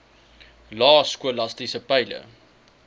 lae skolastiese peile